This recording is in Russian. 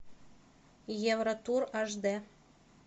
евротур аш дэ